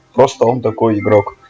просто он такой